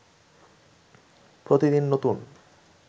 প্রতিদিন নতুন